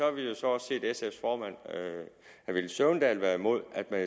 vi jo så også set sf’s formand herre villy søvndal være imod at der